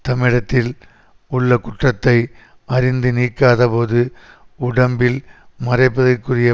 தம்மிடத்தில் உள்ள குற்றத்தை அறிந்து நீக்காத போது உடம்பில் மறைப்பதற்குரிய